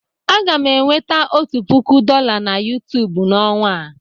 Aga m enweta otu puku dọla na YouTube n'ọnwa a.